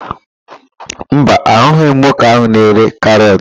Mba, ahụghị m nwoke ahụ na-ere karọt.